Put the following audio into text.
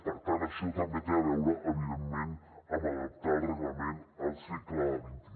per tant això també té a veure evidentment amb adaptar el reglament al segle xxi